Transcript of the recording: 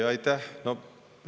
Aitäh!